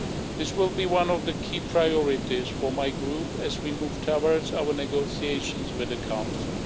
This will be one of the key priorities for my Group as we move towards our negotiations with the Council.